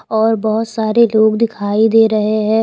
और बहुत सारे लोग दिखाई दे रहे हैं।